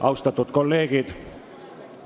Austatud kolleegid!